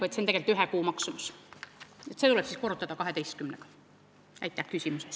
See on tegelikult ühe kuu maksumus, see tuleb korrutada 12-ga.